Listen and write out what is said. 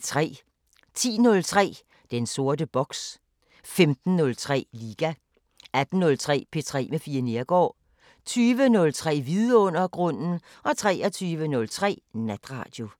10:03: Den sorte boks 15:03: Liga 18:03: P3 med Fie Neergaard 20:03: Vidundergrunden 23:03: Natradio